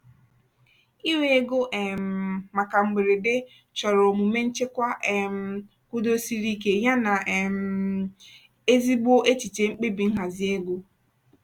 iwe ego um maka mberede chọrọ omume nchekwa um kwudosiri ike yana um ezigbo echiche mkpebi nhazi ego.